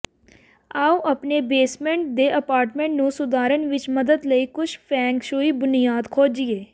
ਆਓ ਆਪਣੇ ਬੇਸਮੈਂਟ ਦੇ ਅਪਾਰਟਮੈਂਟ ਨੂੰ ਸੁਧਾਰਨ ਵਿੱਚ ਮਦਦ ਲਈ ਕੁਝ ਫੈਂਗ ਸ਼ੂਈ ਬੁਨਿਆਦ ਖੋਜੀਏ